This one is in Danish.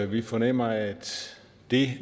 vi fornemmer at det